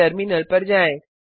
अपने टर्मिनल पर जाएँ